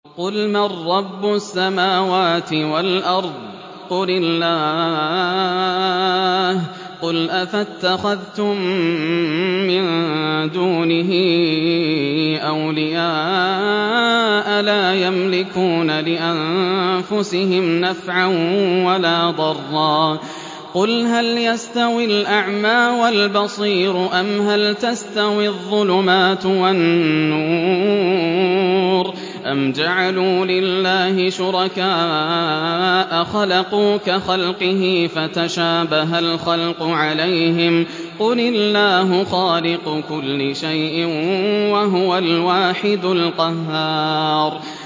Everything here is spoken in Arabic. قُلْ مَن رَّبُّ السَّمَاوَاتِ وَالْأَرْضِ قُلِ اللَّهُ ۚ قُلْ أَفَاتَّخَذْتُم مِّن دُونِهِ أَوْلِيَاءَ لَا يَمْلِكُونَ لِأَنفُسِهِمْ نَفْعًا وَلَا ضَرًّا ۚ قُلْ هَلْ يَسْتَوِي الْأَعْمَىٰ وَالْبَصِيرُ أَمْ هَلْ تَسْتَوِي الظُّلُمَاتُ وَالنُّورُ ۗ أَمْ جَعَلُوا لِلَّهِ شُرَكَاءَ خَلَقُوا كَخَلْقِهِ فَتَشَابَهَ الْخَلْقُ عَلَيْهِمْ ۚ قُلِ اللَّهُ خَالِقُ كُلِّ شَيْءٍ وَهُوَ الْوَاحِدُ الْقَهَّارُ